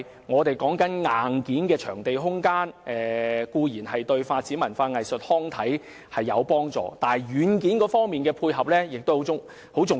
我們所說的硬件場地空間對發展文化、藝術及康體固然有幫助，但軟件的配合亦十分重要。